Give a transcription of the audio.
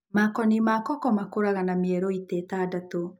Makoni makoko makũrahga na mierui ta ĩtandatũ.